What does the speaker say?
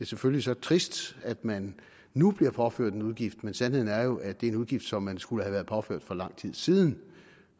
selvfølgelig trist at man nu bliver påført en udgift men sandheden er jo at det er en udgift som man skulle have været påført for lang tid siden